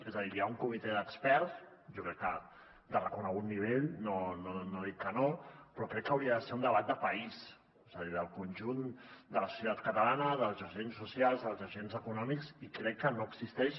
és a dir hi ha un comitè d’experts jo crec que de reconegut nivell no dic que no però crec que hauria de ser un debat de país és a dir del conjunt de la societat catalana dels agents socials dels agents econòmics i crec que no existeix